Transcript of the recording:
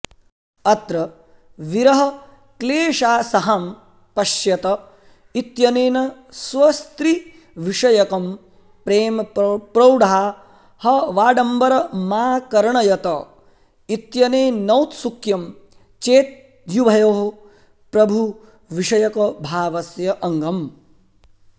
अत्र विरहक्लेशासहां पश्यत इत्यनेन स्वस्त्रीविषयकं प्रेम प्रौढाहवाडम्बरमाकर्णयत इत्यनेनौत्सुक्यं चेत्युभयोः प्रभुविषयकभावस्य अङ्गम्